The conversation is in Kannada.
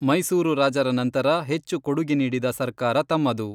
ಮೈಸೂರು ರಾಜರ ನಂತರ ಹೆಚ್ಚು ಕೊಡುಗೆ ನೀಡಿದ ಸರ್ಕಾರ ತಮ್ಮದು.